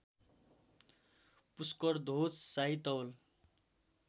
पुष्करध्वज शाही तौल